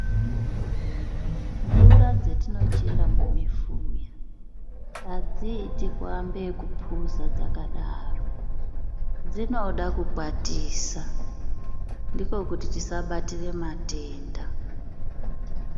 Mvura dzetinochera mumifuya adziiti kuambe nekuphuza dzakadaro dzinode kukwatisa ndikwo kuti tisabatire matenda.